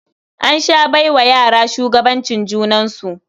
An sha bai wa yara shugabancin junansu.